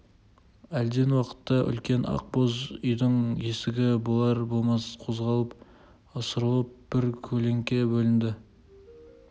әлден уақытта үлкен ақ боз үйдің есігі болар-болмас қозғалып ысырылып бір көлеңке бөлінді